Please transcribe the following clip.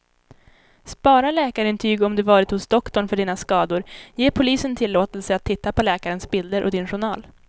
Spara läkarintyg om du varit hos doktorn för dina skador, ge polisen tillåtelse att titta på läkarens bilder och din journal.